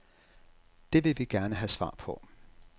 Det vil vi gerne have svar på.